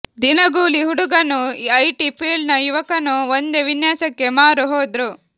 ದಿನಗೂಲಿ ಹುಡುಗನೂ ಐಟಿ ಫೀಲ್ಡ್ನ ಯುವಕನೂ ಒಂದೇ ವಿನ್ಯಾಸಕ್ಕೆ ಮಾರು ಹೋದ್ರು